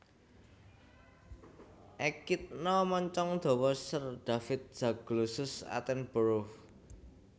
Ekidna moncong dawa Sir David Zaglossus attenborough